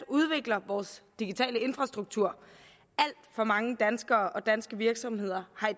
udvikler vores digitale infrastruktur alt for mange danskere og danske virksomheder har i